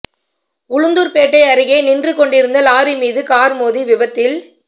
உளுந்தூர் பேட்டை அருகே நின்றுகொண்டிருந்த லாரி மீது கார் மோதிய விபத்தில்